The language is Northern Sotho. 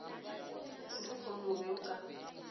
selehono o be o ka